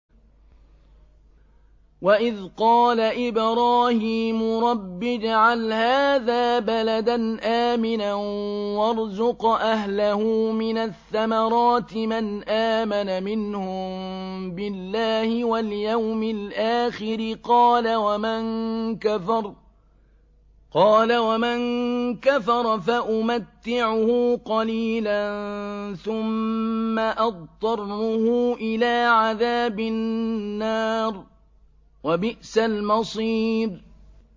وَإِذْ قَالَ إِبْرَاهِيمُ رَبِّ اجْعَلْ هَٰذَا بَلَدًا آمِنًا وَارْزُقْ أَهْلَهُ مِنَ الثَّمَرَاتِ مَنْ آمَنَ مِنْهُم بِاللَّهِ وَالْيَوْمِ الْآخِرِ ۖ قَالَ وَمَن كَفَرَ فَأُمَتِّعُهُ قَلِيلًا ثُمَّ أَضْطَرُّهُ إِلَىٰ عَذَابِ النَّارِ ۖ وَبِئْسَ الْمَصِيرُ